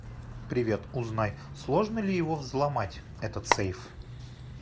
привет узнай сложно ли его взломать этот сейф